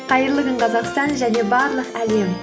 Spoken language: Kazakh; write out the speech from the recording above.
қайырлы күн қазақстан және барлық әлем